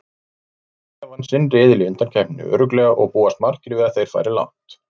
Belgía vann sinn riðil í undankeppninni örugglega og búast margir við að þeir fari langt.